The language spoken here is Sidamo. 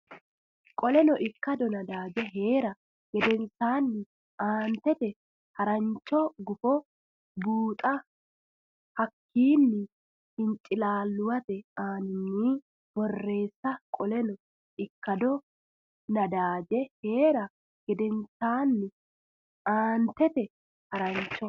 Qoleno ikkado nadaaje hee ra gedensaanni aantete harancho gufo buuxa hakkiini hincilaalluwate aaninni borreesse Qoleno ikkado nadaaje hee ra gedensaanni aantete harancho.